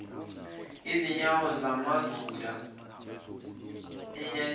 ezinyawo zamazulu ayenyathela